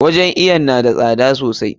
Wajen iwon na da tsada sosai.